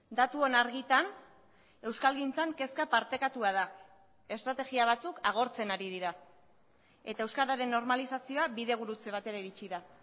datuon argitan euskalgintzan kezka partekatua da estrategia batzuk agortzen ari dira eta euskararen normalizazioa bide gurutze batera iritsi da